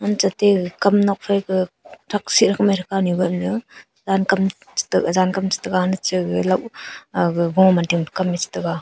anche atte gaga kam nokphai ka thak si kamai thapanu kanu ganyu jankam chete jankam chetega hane che gaga lau aga goma ding kam chetega.